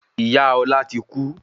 Ìyá Ọlá ti kú